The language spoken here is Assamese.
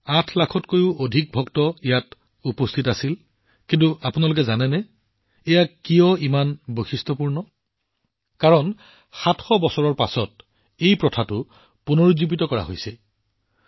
ইয়াত আঠ লাখতকৈও অধিক ভক্তই অংশগ্ৰহণ কৰিছিল কিন্তু আপুনি জানেনে এইটো কিয় ইমান বিশেষ এইটো বিশেষ কিয়নো ৭০০ বছৰৰ পিছত এই প্ৰথাটো পুনৰুজ্জীৱিত কৰা হৈছে